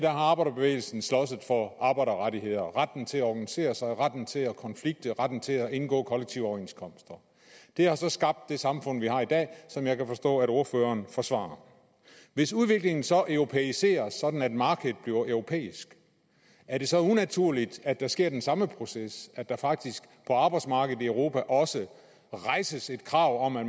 arbejderbevægelsen sloges for arbejderrettigheder retten til at organisere sig retten til at konflikte og retten til at indgå kollektive overenskomster det har så skabt det samfund vi har i dag og som jeg kan forstå at ordføreren forsvarer hvis udviklingen så europæiseres sådan at markedet bliver europæisk er det så unaturligt at der sker den samme proces at der faktisk på arbejdsmarkedet i europa også rejses et krav om at